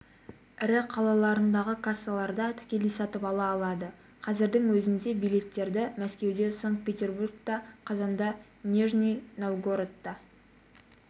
ірі қалаларындағы кассаларда тікелей сатып ала алады қазірдің өзінде билеттерді мәскеуде санкт-петерборда қазанда нижний новгородта